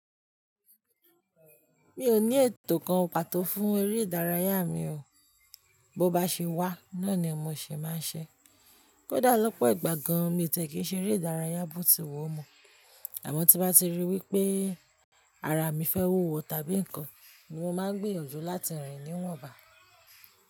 Mi ò ní ètò kan pàtó fún eré ìdárayá mi o. Bo bá ṣe wá, náà ni mo ṣe máa ń ṣe. Kódà lọ́pọ̀ ìgbà gan mi tẹ̀ kí n ṣe eré ìdárayá bó ti wu o mọ. Àmọ́ tí bá ti rí wí pé ara mi fẹ́ wúwo tàbí nǹkan ni mo máa ń gbìyànjú láti rìn níwọ̀nba.